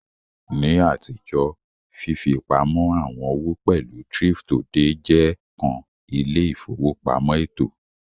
Ni atijo, fifipamọ awọn owo pẹlu thrift-odè je kan ile-ifowopamọ eto.